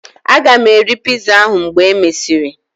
Aga m eri piza ahu mgbe e mesịrị